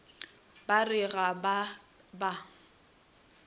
ba re ga ba ba